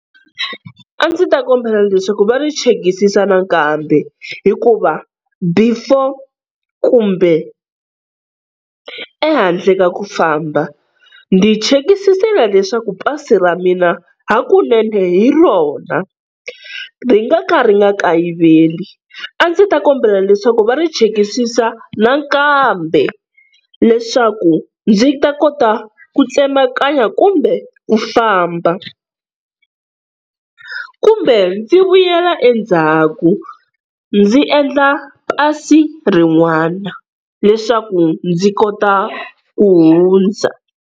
A ndzi ta kombela leswaku va ri chekisisa nakambe, hikuva before kumbe ehandle ka ku famba ndzi chekisisile leswaku pasi ra mina hakunene hi rona ri nga ka ri nga kayiveli, a ndzi ta kombela leswaku va ri chekisisa nakambe leswaku ndzi ta kota ku tsemakanya kumbe ku famba, kumbe ndzi vuyela endzhaku ndzi endla pasi rin'wana leswaku ndzi kota ku hundza.